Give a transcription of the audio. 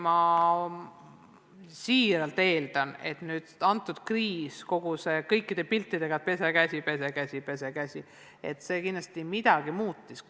Ma siiralt loodan, et praegune kriis koos kõigi nende piltidega "Pese käsi!" midagi muudab.